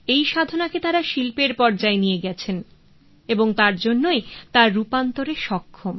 এই সাধনাকে তারা শিল্পের পর্যায়ে নিয়ে গেছেন এবং তার জন্যই তা রূপান্তরে সক্ষম